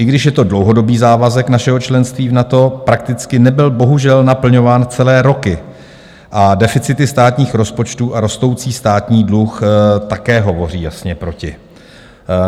I když je to dlouhodobý závazek našeho členství v NATO, prakticky nebyl bohužel naplňován celé roky a deficity státních rozpočtů a rostoucí státní dluh také hovoří jasně proti.